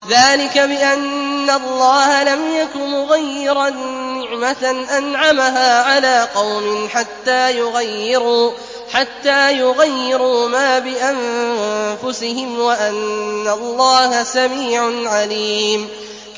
ذَٰلِكَ بِأَنَّ اللَّهَ لَمْ يَكُ مُغَيِّرًا نِّعْمَةً أَنْعَمَهَا عَلَىٰ قَوْمٍ حَتَّىٰ يُغَيِّرُوا مَا بِأَنفُسِهِمْ ۙ وَأَنَّ اللَّهَ سَمِيعٌ عَلِيمٌ